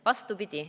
Vastupidi.